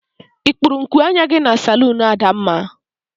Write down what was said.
I kpuru nku anya gi na salunu Adamma?